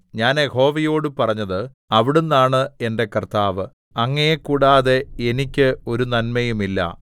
ഞാൻ യഹോവയോട് പറഞ്ഞത് അവിടുന്നാണ് എന്റെ കർത്താവ് അങ്ങയെ കൂടാതെ എനിക്ക് ഒരു നന്മയും ഇല്ല